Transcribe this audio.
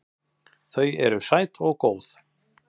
Þau eru sæt og góð.